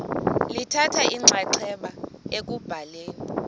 lithatha inxaxheba ekubhaleni